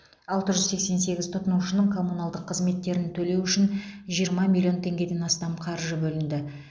алты жүз сексен сегіз тұтынушының коммуналдық қызметтерін төлеу үшін жиырма миллион теңгеден астам қаржы бөлінді